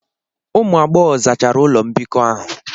Ụmụ agbọghọ zachara ụlọ mbikọ ahụ.